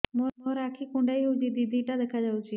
ମୋର ଆଖି କୁଣ୍ଡାଇ ହଉଛି ଦିଇଟା ଦିଇଟା ଦେଖା ଯାଉଛି